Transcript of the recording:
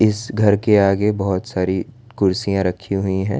इस घर के आगे बहोत सारी कुर्सियां रखी हुईं हैं।